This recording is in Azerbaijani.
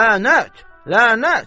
Lənət, lənət!